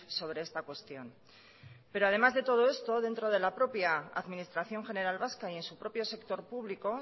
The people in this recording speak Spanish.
sobre esta cuestión pero además de todo esto dentro de la propia administración general vasca y en su propio sector público